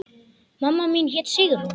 Mamma mín hét Sigrún.